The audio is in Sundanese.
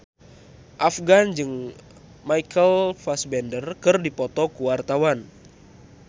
Afgan jeung Michael Fassbender keur dipoto ku wartawan